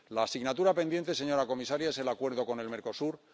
La asignatura pendiente, señora comisaria, es el acuerdo con el Mercosur.